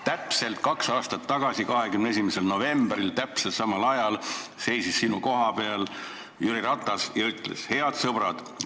Täpselt kaks aastat tagasi, 21. novembril täpselt samal ajal seisis sinu koha peal Jüri Ratas ja ütles: "Head sõbrad!